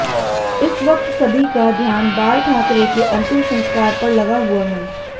इस वक्त सभी का ध्यान बाल ठाकरे के अंतिम संस्कार पर लगा हुआ है